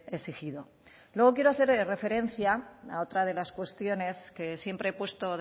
exigido luego quiero hacer referencia a otra de las cuestiones que siempre he puesto